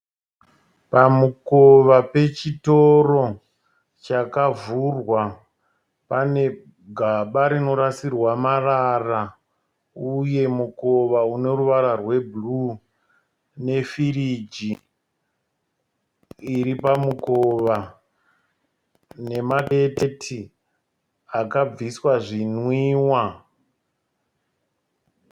Pamukova pechitoro chakavhurwa pane gaba rinorasirwa marara. Uye mukova une ruvara rwe bhuruu ne firiji iri pamukova nema deketi akabviswa zvinwiwa.